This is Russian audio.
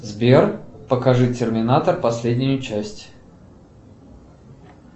сбер покажи терминатор последнюю часть